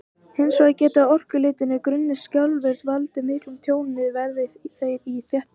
Hins vegar geta orkulitlir, grunnir skjálftar valdið miklu tjóni, verði þeir í þéttbýli.